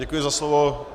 Děkuji za slovo.